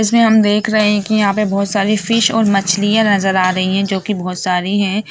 इसमे हम देख रहे है की यहाँ पे बोहत सारी फिश और मछलियाँ नजर आ रही है जो की बोहत सारी है।